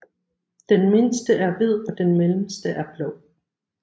Den mindste er hvid og den mellemste er blå